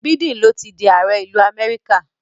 Biden ló ti di ààrẹ ìlú Amẹ́ríkà.